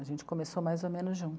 A gente começou mais ou menos